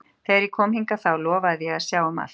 Þegar ég kom hingað þá lofaði ég að sjá um allt.